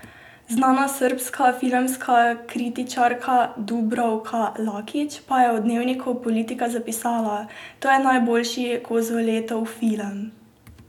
Znana srbska filmska kritičarka Dubravka Lakić pa je v dnevniku Politika zapisala: "To je najboljši Kozoletov film.